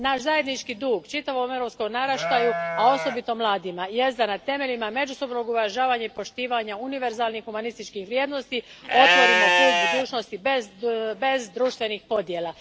Naš zajednički dug čitavom europskom naraštaju, a osobito mladima, jest da na temelju međusobnog uvažavanja i poštivanja univerzalnih humanističkih vrijednosti otvorimo put budućnosti bez društvenih podjela.